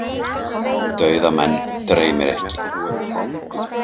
Dauða menn dreymir ekki.